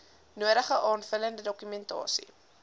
nodige aanvullende dokumentasie